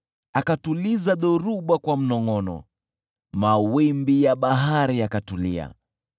Akatuliza dhoruba kwa mnongʼono, mawimbi ya bahari yakatulia.